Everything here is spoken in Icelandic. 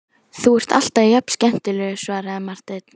Þú ert alltaf jafn skemmtilegur, svaraði Marteinn.